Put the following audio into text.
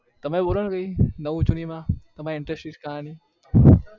તમારું બોલો નવી જુની માં interest કહાની